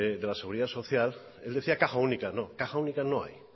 de la seguidas social el decía caja única no caja única no hay